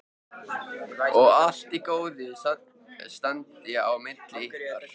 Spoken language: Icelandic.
Og allt í góðu standi á milli ykkar?